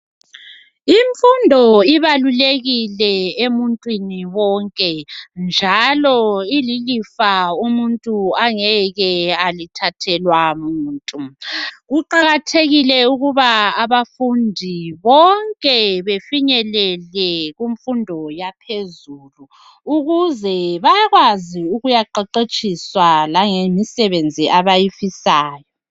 Imfundo ibalulekile emuntu wonke njalo ililifa umuntu angeke walithathelwa muntu kuqakathekile ukuba abafundi bonke bafinyelele kunfundo yaphezu ukuze bekwazi ukuyaqetshetshiswa langemisebenzi abayifinayo .